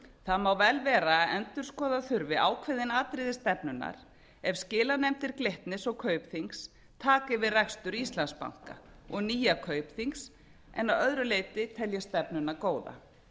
það má vel vera að endurskoða þurfi ákveðin atriði stefnunnar ef skilanefndir glitnis og kaupþings taka við rekstri íslandsbanka og nýja kaupþings en að öðru leyti tel ég stefnuna góða